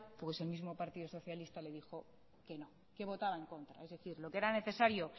el mismo partido socialista le dijo que no que votaba en contra lo que era necesario